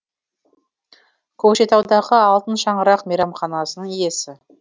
көкшетаудағы алтын шаңырақ мейрамханасының иесі